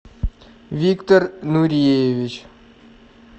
виктор нуреевич